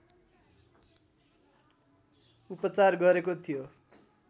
उपचार गरेको थियो